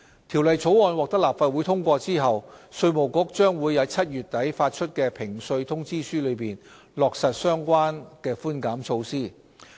《條例草案》獲立法會通過後，稅務局將由7月底起發出的評稅通知書中，落實相關寬減措施。